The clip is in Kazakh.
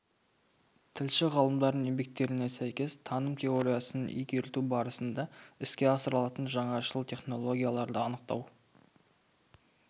тілші-ғалымдардың еңбектеріне сәйкес таным теориясын игерту барысында іске асырылатын жаңашыл технологияларды анықтау